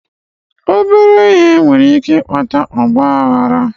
Obere ihe nwere ike ịkpata ọgba aghara